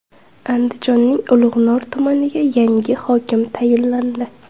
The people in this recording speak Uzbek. Andijonning Ulug‘nor tumaniga yangi hokim tayinlandi.